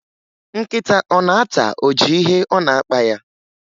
Nkịta ọ na-ata ọjị ihe ọ na-akpa ya?